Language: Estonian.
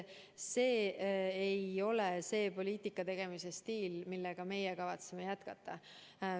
See ei ole see poliitika tegemise stiil, millega meie kavatseme jätkata.